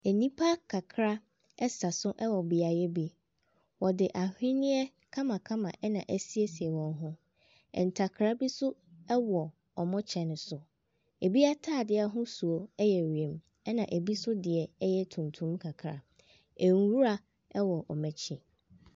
Nnipa kakra ɛsa so wɔ beaeɛ bi, wɔde aweneɛ kamakama na asiesie wɔn ho, ntakra bi so wɔ wɔn kyɛ ne so, binom ataadeɛ ahosuo yɛ wiem na bi nso deɛ yɛ tuntum kakra, nwura wɔ wɔn akyi.